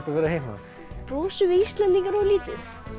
að vera heima brosum við Íslendingar of lítið